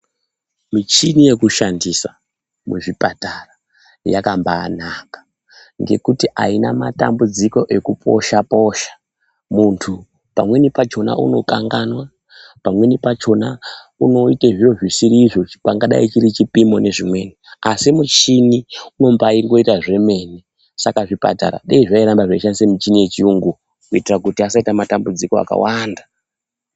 Michini yekushandisa muzvipatara yakambayanaka ngekuti aina matambudziko ekuposha posha muntu pamweni pachona unokanganwa, pamweni pachona unoite zviro zvisirizvo ,pangadai chiri chipimo nezvimweni , asi muchini unoba aita zvemene saka zvipatara dai zvairamba zveishandisa michini yechiyungu kuti zvisaite matambudziko akawanda.